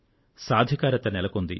సాధికారిత నెలకొంది